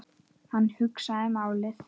Hann hugsaði málið.